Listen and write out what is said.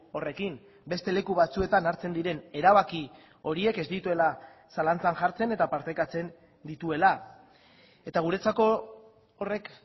horrekin beste leku batzuetan hartzen diren erabaki horiek ez dituela zalantzan jartzen eta partekatzen dituela eta guretzako horrek